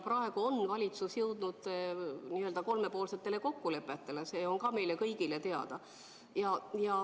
Praegu on valitsus jõudnud kolmepoolsetele kokkulepetele, see on meile kõigile teada.